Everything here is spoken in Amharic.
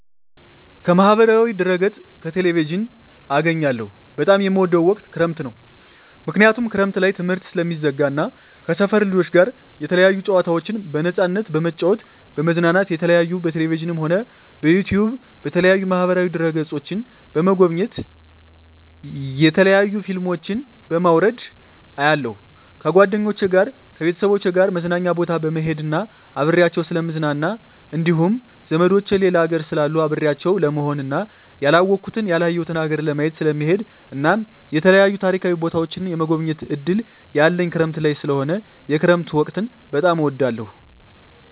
ከማህበራዊ ድህረገፅ ከቴሌቪዥን አገኛለሁ በጣም የምወደዉ ወቅት ክረምት ነዉ ምክንያቱም ክረምት ላይ ትምህርት ስለሚዘጋ እና ከሰፈር ልጆች ጋር የተለያዩ ጨዋታዎችን በነፃነት በመጫወት በመዝናናት የተለያዩ በቴሌቪዥንም ሆነ በዩቱዩብ በተለያዩ ማህበራዋ ድህረ ገፆችን በመጎብኘት የተለያዩ ፊልሞችን በማዉረድ አያለሁ ከጓደኞቸ ጋር ከቤተሰቦቸ ጋር መዝናኛ ቦታ በመሄድና አብሬያቸዉ ስለምዝናና እንዲሁም ዘመዶቸ ሌላ ሀገር ስላሉ አብሬያቸው ለመሆንና ያላወኩትን ያላየሁትን ሀገር ለማየት ስለምሄድ እናም የተለያዩ ታሪካዊ ቦታዎችን የመጎብኘት እድል ያለኝ ክረምት ላይ ስለሆነ የክረምት ወቅት በጣም እወዳለሁ